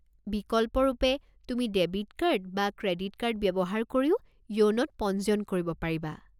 বিকল্পৰূপে, তুমি debit card বা credit card ব্যৱহাৰ কৰিও য়োনোত পঞ্জিয়ন কৰিব পাৰিবা।